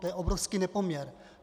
To je obrovský nepoměr.